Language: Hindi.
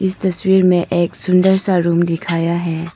इस तस्वीर में एक सुंदर सा रूम दिखाया है।